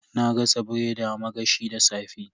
Na gasa biredi a magashi da safe.